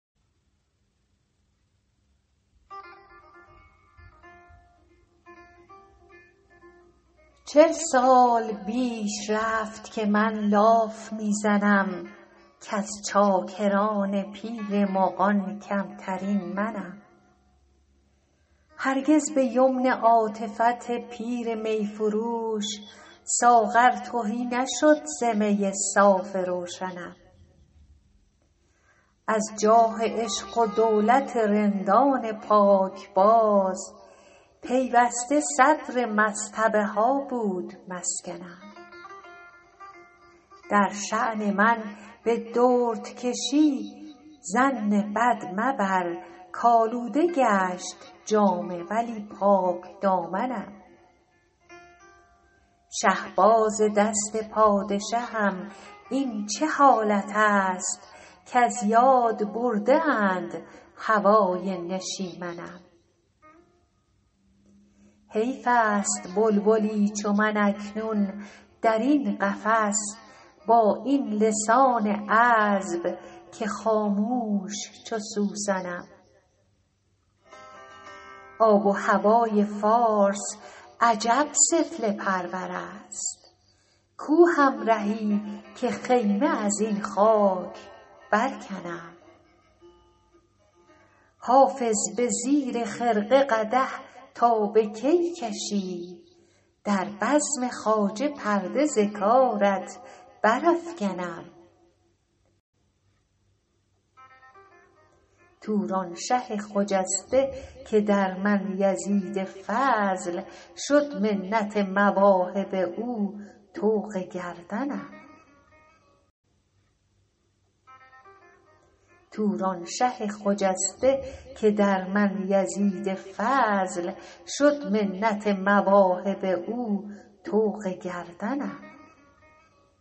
چل سال بیش رفت که من لاف می زنم کز چاکران پیر مغان کمترین منم هرگز به یمن عاطفت پیر می فروش ساغر تهی نشد ز می صاف روشنم از جاه عشق و دولت رندان پاکباز پیوسته صدر مصطبه ها بود مسکنم در شان من به دردکشی ظن بد مبر کآلوده گشت جامه ولی پاکدامنم شهباز دست پادشهم این چه حالت است کز یاد برده اند هوای نشیمنم حیف است بلبلی چو من اکنون در این قفس با این لسان عذب که خامش چو سوسنم آب و هوای فارس عجب سفله پرور است کو همرهی که خیمه از این خاک برکنم حافظ به زیر خرقه قدح تا به کی کشی در بزم خواجه پرده ز کارت برافکنم تورانشه خجسته که در من یزید فضل شد منت مواهب او طوق گردنم